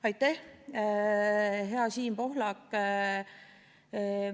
Aitäh, hea Siim Pohlak!